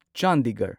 Chandigarh